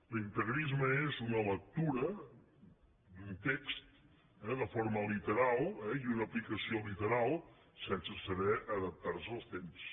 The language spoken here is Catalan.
l’integrisme és una lectura d’un text eh de forma literal i una aplicació literal sense saber adaptar se als temps